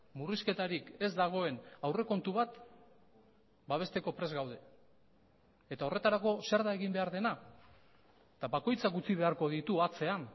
murrizketarik ez dagoen aurrekontu bat babesteko prest gaude eta horretarako zer da egin behar dena eta bakoitzak utzi beharko ditu atzean